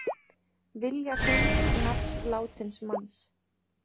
Vilja hreins nafn látins manns